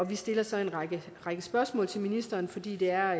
vi stiller så en række spørgsmål til ministeren fordi det er